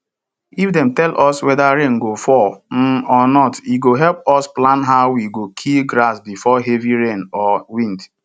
if dem tell us whether rain go fall um or not e go help us plan how we go kill grass before heavy rain or wind